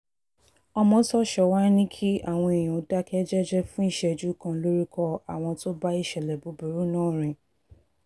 ọmọ́tòso wàá ní kí àwọn èèyàn dákẹ́ jẹ́ẹ́jẹ́ fún ìṣẹ́jú kan lórúkọ àwọn tó bá ìṣẹ̀lẹ̀ búburú náà rìn